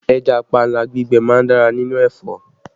Ẹja panla gbígbẹ má ń dára nínú ẹ̀fọ́